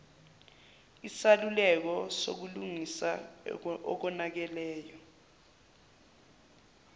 isaluleko sokulungisa okonakeleyo